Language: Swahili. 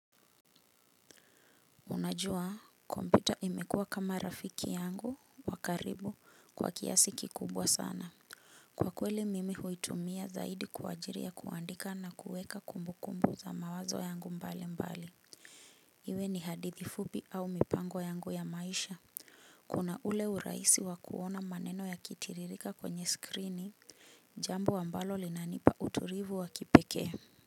Unajua, kompyuta imekua kama rafiki yangu wa karibu kwa kiasi kikubwa sana. Kwa kweli mimi huitumia zaidi kwa ajili ya kuandika na kueka kumbu kumbu za mawazo yangu mbali mbali. Iwe ni hadithi fupi au mipango yangu ya maisha. Kuna ule urahisi kuona maneno yakitiririka kwenye skrini jambo ambalo linanipa utulivu wa kipekee.